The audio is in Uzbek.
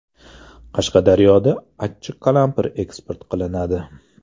Qashqadaryoda achchiq qalampir eksport qilinadi.